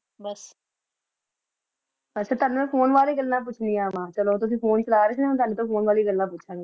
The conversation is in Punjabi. ਆਚਾ ਤਨੁ ਮੈਂ phone ਬਾਰੇ ਈ ਗੱਲਾਂ ਪੋਚ੍ਨਿਯਾਂ ਵਾ ਚਲੋ ਤੁਸੀਂ phone ਚਲਾ ਰਹੀ ਸੀ ਤਨੁ ਫੋਨੇ ਬਾਰੇ ਈ ਗੱਲਾਂ ਪੋਚ੍ਨਿਯਾਂ ਵਾ ਚਲੋ